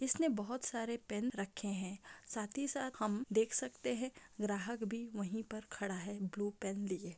इसने बहोत सारे पेन रखे हैं साथ ही साथ हम देख सकते हैं ग्राहक भी वहीं पर खड़ा है ब्लू पेन लिए।